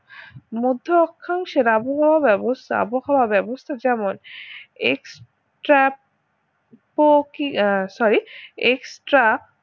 মধ্য আখ্যাংশের আবহাওয়া ব্যবস্থা আবহাওয়া ব্যবস্থা যেমন ex trap কো কি আহ sorry ex trap